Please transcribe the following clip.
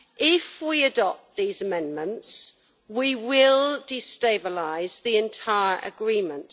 If we adopt these amendments, we will destabilise the entire agreement.